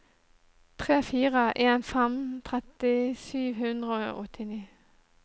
tre fire en fem tretti sju hundre og åttini